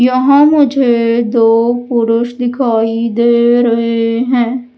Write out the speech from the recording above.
यहां मुझे दो पुरुष दिखाई दे रहे हैं।